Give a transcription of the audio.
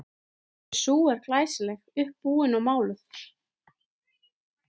Og sú er glæsileg, uppábúin og máluð!